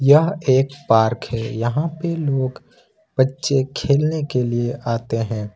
यह एक पार्क है यहां पे लोग बच्चे खेलने के लिए आते हैं।